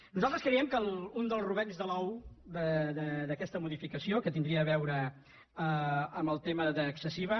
nosaltres creiem que un dels rovells de l’ou d’aques·ta modificació que tindria a veure amb el tema d’ex·cessiva